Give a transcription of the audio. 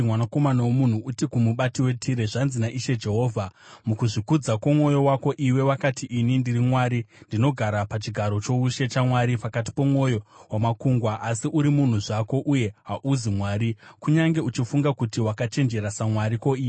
“Mwanakomana womunhu, uti kumubati weTire, ‘Zvanzi naIshe Jehovha: “ ‘Mukuzvikudza kwomwoyo wako iwe unoti, “Ini ndiri mwari; ndinogara pachigaro choushe chamwari, pakati pomwoyo wamakungwa.” Asi uri munhu zvako uye hauzi mwari, kunyange uchifunga kuti wakachenjera samwari.